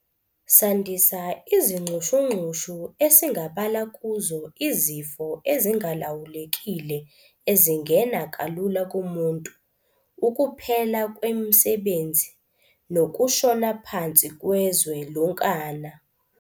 sandisa izinxushunxushu esingabala kuzo izifo ezingalawulekile ezingena kalula kumuntu, ukuphela kwemisbenzi nokushona phansi kwezwe lonkana.